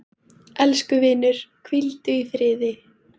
Elsku vinur, hvíldu í friði.